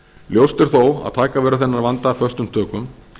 ljóst er þó að taka verður þennan vanda föstum tökum